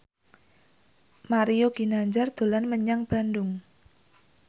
Mario Ginanjar dolan menyang Bandung